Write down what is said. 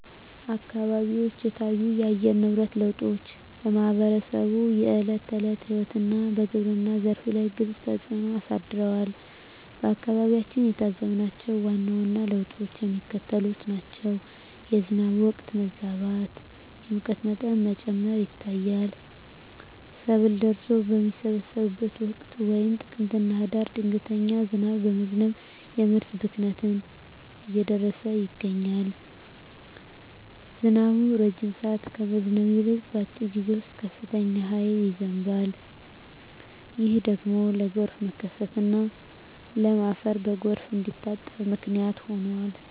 አካባቢዎች የታዩት የአየር ንብረት ለውጦች በማኅበረሰቡ የዕለት ተዕለት ሕይወትና በግብርናው ዘርፍ ላይ ግልጽ ተፅእኖ አሳድረዋል። በአካባቢያችን የታዘብናቸው ዋና ዋና ለውጦች የሚከተሉት ናቸው፦ የዝናብ ወቅት መዛባት፣ የሙቀት መጠን መጨመር ይታያል። ሰብል ደርሶ በሚሰበሰብበት ወቅት (ጥቅምትና ህዳር) ድንገተኛ ዝናብ በመዝነብ የምርት ብክነትን እያደረሰ ይገኛል። ዝናቡ ረጅም ሰዓት ከመዝነብ ይልቅ፣ በአጭር ጊዜ ውስጥ በከፍተኛ ኃይል ይዘንባል። ይህ ደግሞ ለጎርፍ መከሰትና ለም አፈር በጎርፍ እንዲታጠብ ምክንያት ሆኗል።